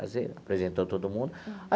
Apresentou todo mundo.